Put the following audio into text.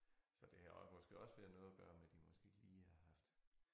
Så det har også måske også været noget at gøre med de måske ikke lige har haft